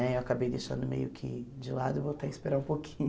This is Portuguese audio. Né eu acabei deixando meio que de lado e voltei a esperar um pouquinho.